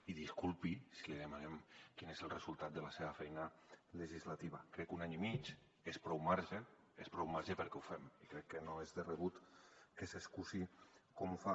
i disculpi si li demanem quin és el resultat de la seva feina legislativa crec que un any i mig és prou marge és prou marge perquè ho fem i crec que no és de rebut que s’excusi com ho fa